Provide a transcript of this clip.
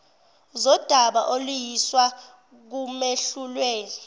zodaba oluyiswa kumehluleli